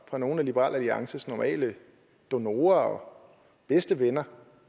fra nogle af liberal alliances normale donorer og bedste venner